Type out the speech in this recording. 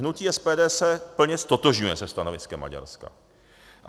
Hnutí SPD se plně ztotožňuje se stanoviskem Maďarska.